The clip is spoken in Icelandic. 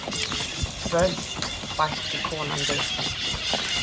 Völd, bætti konan við.